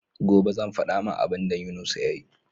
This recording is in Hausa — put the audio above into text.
Gobe zan fada ma abun da yunusa yayi